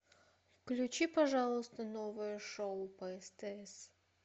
включи пожалуйста новое шоу по стс